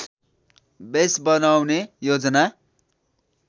base बनाउने योजना